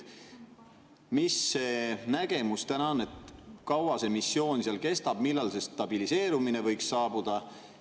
Mis see nägemus täna on, kui kaua see missioon kestab, millal see stabiliseerumine võiks saabuda?